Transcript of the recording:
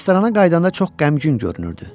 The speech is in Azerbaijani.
Restorana qayıdanda çox qəmgin görünürdü.